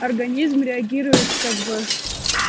организм реагирует как бы